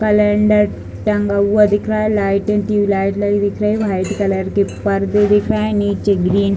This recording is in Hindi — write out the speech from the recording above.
कलेंडर टंगा हुआ दिख रहा है लाइट लगी दिख रही है व्हाइट कलर के पर्दे दिख रहे हैं नीचे ग्रीन --